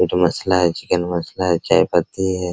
ये तो मसला है चिकेन मसला है चाय पत्ती है।